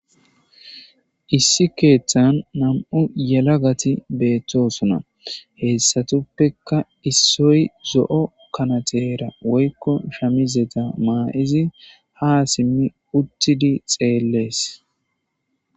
Issi keethan nam'u yelagati beetoosona. Hessatupeka issoy zo'o kanaterara woyko shamizeta mayidi ha simmi uttidi beetees.